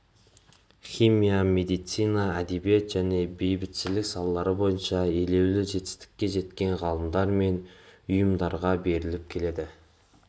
химия медицина әдебиет және бейбітшілік салалары бойынша елеулі жетістікке жеткен ғалымдар мен ұйымдарға беріліп келеді